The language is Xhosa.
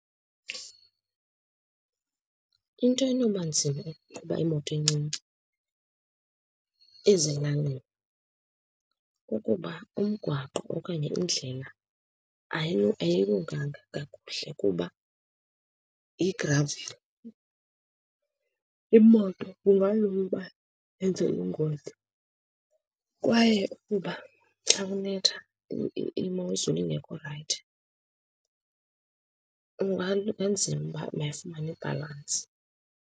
Into enoba nzima ukuqhuba imoto encinci ezilalini kukuba umgwaqo okanye indlela ayilunganga kakuhle kuba yigraveli. Imoto kungalula uba enze ingozi, kwaye ukuba xa kunetha imozulu ingekho rayithi kunganzima uba mayifumane ibhalansi.